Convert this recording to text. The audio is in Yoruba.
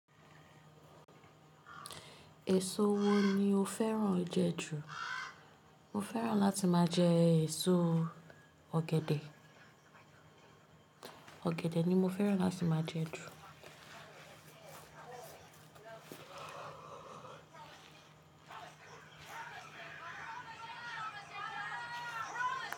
Èso wo ni o fẹ́ràn jẹ ju? Mo fẹ́ràn láti máa jẹ èso ọ̀gẹ̀dẹ̀. Ọ̀gẹ̀dẹ̀ ni mo fẹ́ràn láti máa jẹ ju.